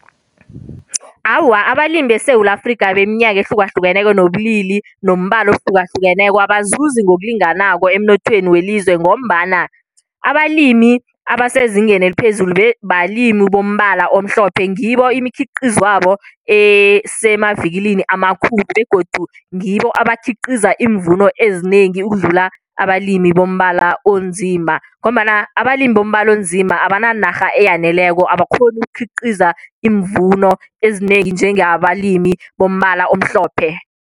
Awa, abalimi beSewula Afrika beminyaka ehlukahlukeneko nobulili, nombala ohlukahlukeneko abazuzi ngokulinganako emnothweni welizwe ngombana abalimi abasezingeni eliphezulu balimi bombala omhlophe. Ngibo imikhiqizwabo esemavikilini amakhulu begodu ngibo abakhiqiza iimvuno ezinengi ukudlula abalimi bombala onzima. Ngombana abalimi bombala onzima abananarha eyaneleko, abakghoni ukukhiqiza iimvuno ezinengi njengabalimi bombala omhlophe.